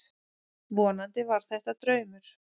Vonandi var þetta draumur.